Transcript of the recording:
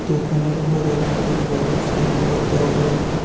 দোকানের উপর একটি বড় সাইনবোর্ড দেওয়া রয়েছে।